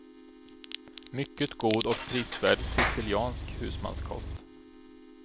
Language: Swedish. Mycket god och prisvärd siciliansk husmanskost.